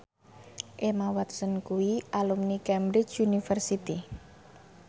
Emma Watson kuwi alumni Cambridge University